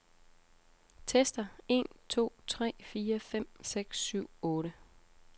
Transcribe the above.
Tester en to tre fire fem seks syv otte.